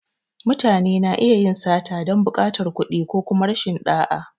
Mutane na iya yin sata don buƙatar kuɗi ko kuma rashin ɗa’a.